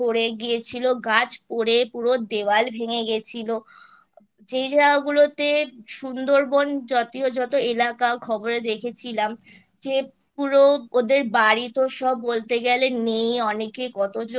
গিয়েছিল গাছ পরে পুরো দেয়াল ভেঙে গিয়েছিলো যেই জায়গাগুলোতে সুন্দরবন জাতীয় যত এলাকা খবরে দেখেছিলাম যে পুরো ওদের বাড়িতে সব বলতে গেলে নেই অনেকে কতজন